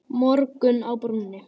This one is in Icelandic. Morgunn á brúnni